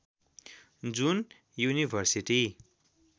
जुन युनिभर्सिटी